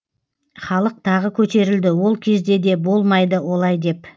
халық тағы көтерілді ол кезде де болмайды олай деп